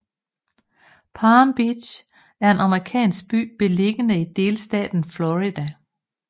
Palm Beach er en amerikansk by beliggende i delstaten Florida